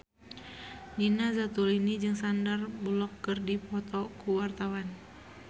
Nina Zatulini jeung Sandar Bullock keur dipoto ku wartawan